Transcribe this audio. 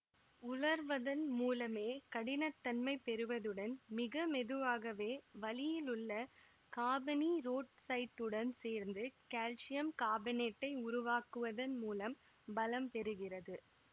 உலர்வதன் மூலமே கடினத்தன்மை பெறுவதுடன் மிகமெதுவாகவே வளியிலுள்ள காபனீரோட்சைட்டுடன் சேர்ந்து கல்சியம் காபனேட்டை உருவாக்குவதன்மூலம் பலம் பெறுகிறது